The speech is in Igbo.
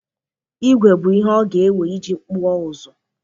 Ígwè bụ ihe ọ ga-ewe iji kpụọ ụzụ.